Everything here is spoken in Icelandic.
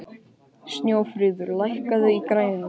Snjófríður, lækkaðu í græjunum.